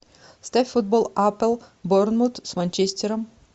ставь футбол апл борнмут с манчестером